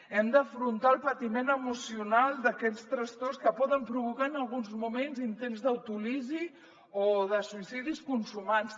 hem d’afrontar el patiment emocional d’aquests trastorns que poden provocar en alguns moments intents d’autòlisi o suïcidis consumats